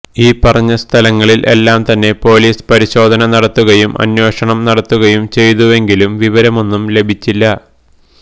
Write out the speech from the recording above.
ഈ പറഞ്ഞ സ്ഥലങ്ങളിൽ എല്ലാം തന്നെ പൊലീസ് പരിശോധന നടത്തുകയും അന്വേഷണം നടത്തുകയും ചെയ്തുവെങ്കിലും വിവരമൊന്നും ലഭിച്ചില്ല